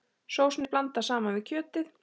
Sósunni blandað saman við kjötið.